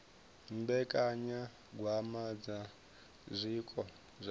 mbekanyagwama dza zwiko zwa vhathu